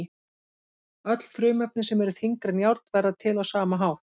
Öll frumefni sem eru þyngri en járn verða til á sama hátt.